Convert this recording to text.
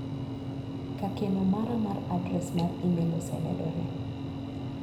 Ka keno mara mar adres mar imel osemedore.